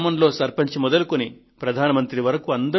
గ్రామంలో సర్పంచ్ మొదలుకొని ప్రధాన మంత్రి వరకు